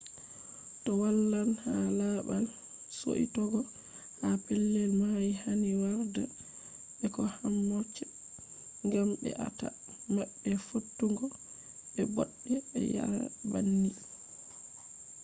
to walan ha babal suitogo ha pellel mai hani warda be ko hammock gam be a ta ma be fottugo be bodde be yaa’re banni